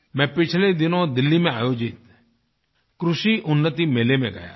मैं पिछले दिनों दिल्ली में आयोजित कृषिउन्नतिमेले में गया था